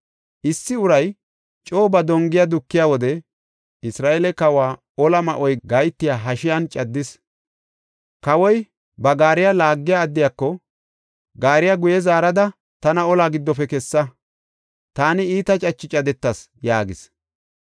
Issi uray coo ba dongiya dukiya wode Isra7eele kawa ola ma7oy gahetiya hashiyan caddis. Kawoy ba gaariya laagiya addiyako, “Gaariya guye zaarada tana olaa giddofe kessa; taani iita cache cadetas” yaagis.